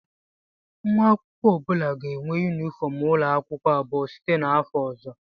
Nwa akwụkwọ ọ bụla ga-enwe yunifọm ụlọ akwụkwọ abụọ site n'afọ ọzọ